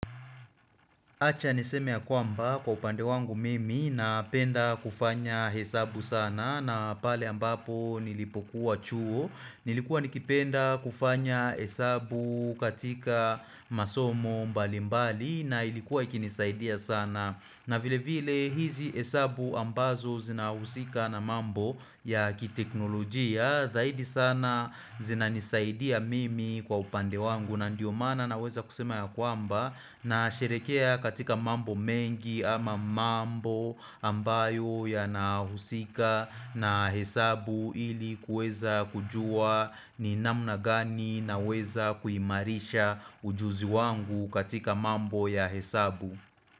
Acha niseme ya kwamba kwa upande wangu mimi na penda kufanya hesabu sana na pale ambapo nilipokuwa chuo nilikuwa nikipenda kufanya hesabu katika masomo mbali mbali na ilikuwa ikinisaidia sana na vile vile hizi hesabu ambazo zina usika na mambo ya kiteknolojia Zaidi sana zina nisaidia mimi kwa upande wangu na ndiyo maana na weza kusema ya kwamba na sherekea katika mambo mengi ama mambo ambayo ya nahusika na hesabu ili kweza kujua ni namna gani naweza kuimarisha ujuzi wangu katika mambo ya hesabu.